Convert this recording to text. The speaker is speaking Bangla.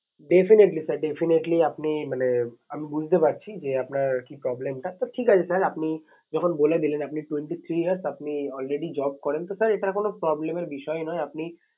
Definitely sir definitely আপনি মানে আমি বুঝতে পারছি যে আপনার কি problem টা sir ঠিক আছে sir আপনি যখন বলে দিলেন আপনি twenty three years আপনি already job করেন তো sir এটা কোনো problem এর বিষয় নয়। আপনি